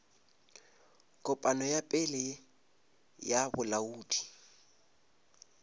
kopano ya pele ya bolaodi